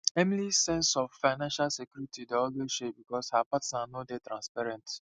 emilys sense of financial security dey always shake because her partner no dey transparent